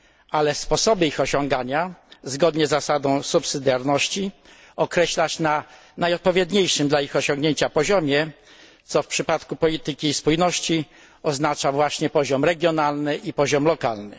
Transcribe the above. ale sposoby ich osiągania określać zgodnie z zasadą subsydiarności na najodpowiedniejszym dla ich osiągnięcia poziomie, co w przypadku polityki spójności oznacza właśnie poziom regionalny i poziom lokalny.